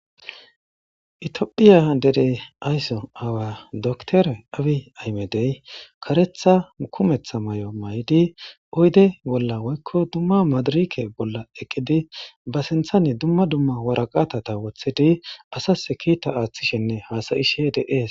itophiya derey aysso awa doktore awi aymedey karetha ukumetha may'o may'idi oyde bolla woykko dumma madirike bolla eqqidi ba sinthane dumma dumma waraqatata woththidi asas kiita aaththishenne haasayishe de'ees